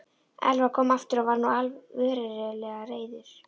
Elvar kom aftur og var nú verulega reiður.